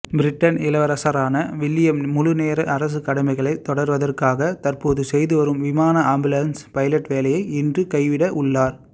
Britain இளவரசரான William முழுநேர அரசகடமைகளை தொடர்வதற்காக தற்போது செய்துவரும் விமான ஆம்புலன்ஸ் பைலட் வேலையை இன்று கைவிட உள்ளார்